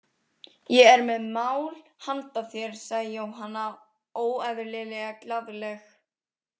Ég er með mál handa þér, sagði Jóhanna óeðlilega glaðleg.